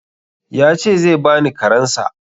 Ya ce zai bani karensa.